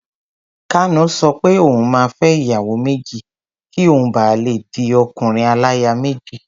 Kanu sọ pé òun máa fẹ́ ìyàwó méjì kí òun ba lè di ọkùnrin-aláya-méjì.